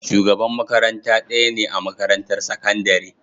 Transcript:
Shugaban makaranta ɗaya ne a makarantar sakandare.